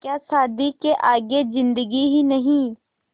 क्या शादी के आगे ज़िन्दगी ही नहीं